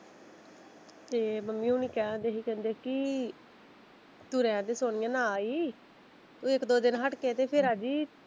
ਤੇ ਮੰਮੀ ਹੋਣੀ ਕਹਿਣ ਦੇ ਸੀ ਕਹਿੰਦੇ ਕਿ ਤੂੰ ਰਹਿਣਦੇ ਸੋਨੀਆ ਨਾ ਆਈ ਇੱਕ ਦੋ ਦਿਨ ਹੱਟ ਕੇ ਫਿਰ ਆਜੀ।